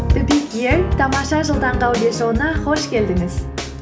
тамаша жыл таңғы аудиошоуына қош келдіңіз